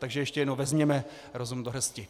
Takže ještě jednou, vezměme rozum do hrsti.